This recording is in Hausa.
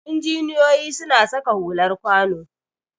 Injiniyoyi suna saka hular kwano